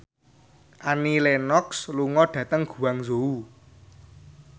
Annie Lenox lunga dhateng Guangzhou